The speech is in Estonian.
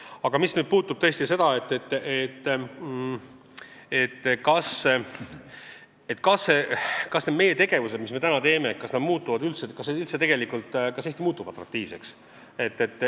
Aga küsimus on tõesti selles, kas need sammud, mis me täna teeme, muudavad Eesti atraktiivseks.